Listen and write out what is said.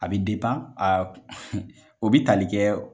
A bi o bi tali kɛ ?